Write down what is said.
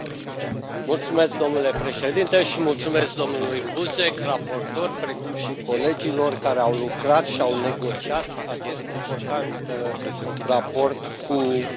Domnule președinte, mulțumesc domnului Buzek, raportor, precum și colegilor care au lucrat și au negociat acest important raport cu Consiliul.